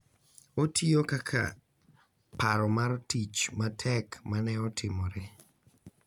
Otiyo kaka paro mar tich matek ma ne otimore